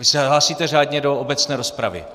Vy se hlásíte řádně do obecné rozpravy.